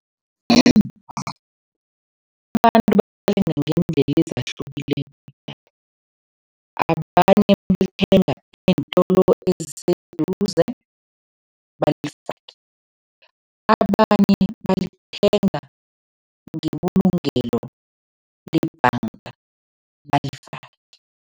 Abantu ngeendlela ezahlukileko. Abanye balithenga eentolo eziseduze, balifake. Abanye balithenga ngebulungelo lebhanga, balifake.